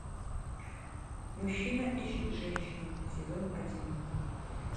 мужчина ищет женщину сезон один